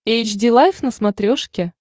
эйч ди лайф на смотрешке